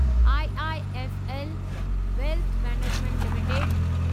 IIFL wealth management limited